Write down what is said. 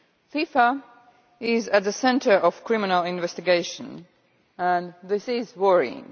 FIFA is at the centre of a criminal investigation, and this is worrying.